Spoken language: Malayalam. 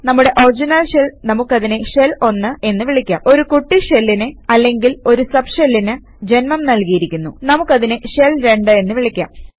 നമ്മുടെ ഒറിജിനൽ ഷെൽ നമുക്കതിനെ ഷെൽ 1 എന്ന് വിളിക്കാം ഒരു കുട്ടി ഷെല്ലിന് അല്ലെങ്കിൽ ഒരു സബ് ഷെല്ലിന് ജന്മം നല്കിയിരിക്കുന്നു നമുക്കതിനെ ഷെൽ 2 എന്ന് വിളിക്കാം